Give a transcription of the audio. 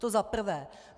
To za prvé.